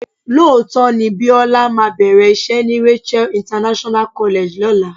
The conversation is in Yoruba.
Lóòótọ́ ni Bíọ́lá máa bẹ̀rẹ̀ iṣẹ́ ni Rachael International College lọ́la.